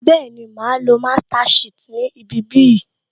Bẹẹni, máa á lo master shit ni ibi bí yìí